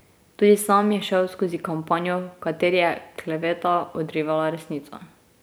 Tudi sam je šel skozi kampanjo, v kateri je kleveta odrivala resnico.